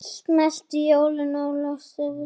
Svo tekur hún af skarið.